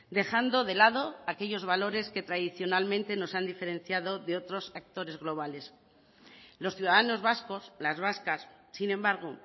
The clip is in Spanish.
dejando de lado aquellos valores que tradicionalmente nos han diferenciado de otros actores globales los ciudadanos vascos las vascas sin embargo